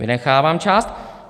Vynechávám část.